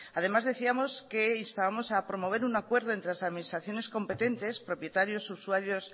además decíamos que instábamos a promover un acuerdo entre la administraciones competentes propietarios usuarios